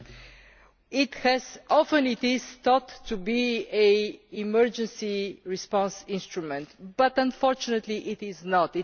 This is often thought to be an emergency response instrument, but unfortunately it is not.